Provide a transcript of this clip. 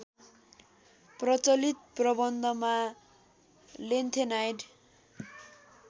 प्रचलित प्रबन्धमा लेन्थेनाइड